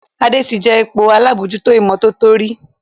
Ade tí jé ipò àlabòjuto imototo rí.